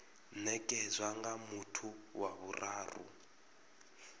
nekedzwa nga muthu wa vhuraru